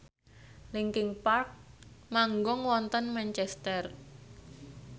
linkin park manggung wonten Manchester